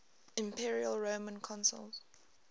imperial roman consuls